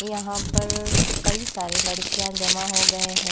यहां पर कई सारे लड़कियां जमा हो गए हैं।